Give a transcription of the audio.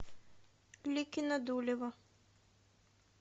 ликино дулево